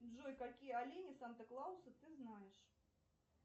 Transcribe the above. джой какие олени санта клауса ты знаешь